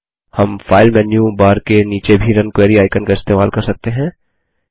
हम file menu bar के नीचे भी रुन क्वेरी आइकन का इस्तेमाल कर सकते हैं